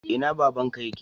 Ina babanka yake?